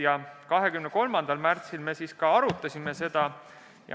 Ja 23. märtsil me arutasime seda.